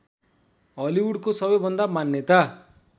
हलिउडको सबैभन्दा मान्यता